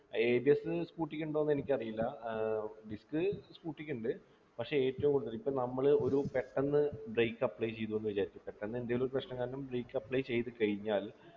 ABSscooty ക്കുണ്ടോ എന്ന് എനിക്കറിയില്ല ഏർ disc scooter ക്ക് ഉണ്ട് പക്ഷെ ഏറ്റവും കൂടുതൽ ഇപ്പോൾ നമ്മള് ഒരു പെട്ടെന്ന് brake apply ചെയ്തു എന്ന് വിചാരിക്കുക പെട്ടന്നെന്തെങ്കിലും ഒരു പ്രശ്നം കാരണം brake apply ചെയ്തു കഴിഞ്ഞാൽ